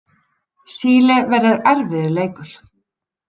Síle verður erfiður leikur.